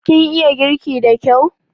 Kin iya girki da kyau?